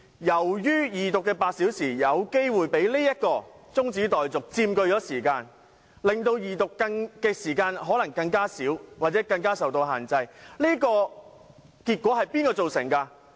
由於二讀辯論的8小時有可能被這項中止待續議案佔據部分時間，二讀辯論的時間可能變得更少或更受限制，這結果是誰造成的？